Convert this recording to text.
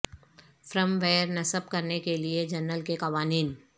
فرم where نصب کرنے کے لئے جنرل کے قوانین